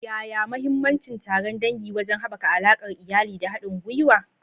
Yaya mahimmancin taron dangi wajen haɓaka alaƙar iyali da haɗin gwiwa?